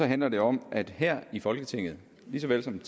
handler det om at her i folketinget lige så vel som